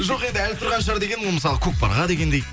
жоқ енді әлі тұрған шығар дегенім ғой мысалы көкпарға дегендей